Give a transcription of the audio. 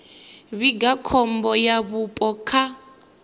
vhiga khombo ya vhupo kha